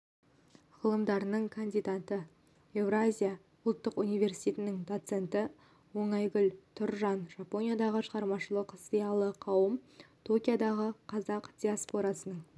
ғылымдарының кандидаты еуразия ұлттық университетінің доценті оңайгүл тұржан жапониядағы шығармашылық зиялы қауым токиодағы қазақ диаспорасының